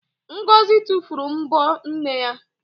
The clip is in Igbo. Ngọzị tufuru m̀bọ́ nne ya.